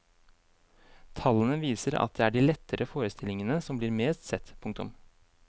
Tallene viser at det er de lettere forestillingene som blir mest sett. punktum